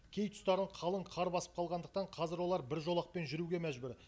кей тұстарын қалың қар басып қалғандықтан қазір олар бір жолақпен жүруге мәжбүр